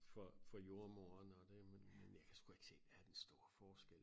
For for jordemoderen og det men men jeg kan sgu ikke se hvad er den store forskel